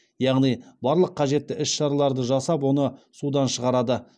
яғни барлық қажетті іс шараларды жасап оны судан шығарады